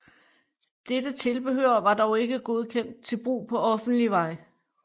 Dette tilbehør var dog ikke godkendt til brug på offentlig vej